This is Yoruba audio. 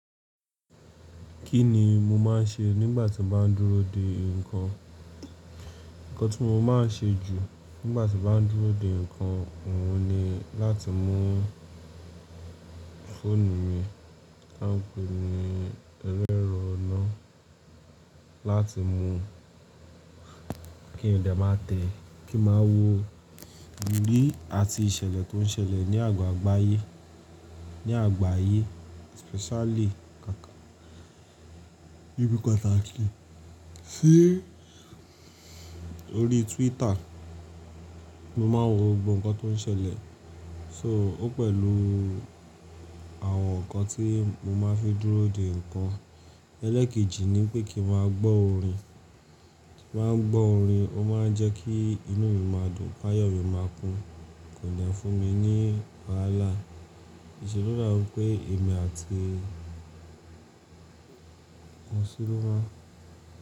Kí ni mo máa ń ṣe nígbà tí mo bá ń dúró de nǹkan? Ǹkan tí mo máa ń ṣe jù nígbà tí mo bá ń dúró de nǹkan, òun ni láti mú fóònù mi, tańpẹ ni ẹlerọ̀'nà láti mú kí n dẹ má tẹ́, kí n máa wo ìrírí àti ìṣẹ̀lẹ̀ tó ń ṣẹlẹ̀ ní àgbàyé, especially kàkà ibi pàtàkì. Sí orí Twitter, mo máa ń wo gbogbo nǹkan tó ń ṣẹlẹ̀. So ó pẹ̀lú àwọn nǹkan tí mo máa ń fi dúró de nǹkan. Ẹlẹ́ẹ̀kejì ni pé kí n máa gbọ́ orin. Kí n máa gbọ́ orin, ó máa ń jẹ́ kí inú mi máa dùn, pé ayọ̀ mi máa kún, kò lè fún mi ní wàhálà. Ìṣè lo dàbi pé èmi àti ọ̀ṣún ló máa.